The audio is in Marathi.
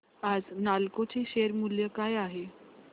आज नालको चे शेअर मूल्य काय आहे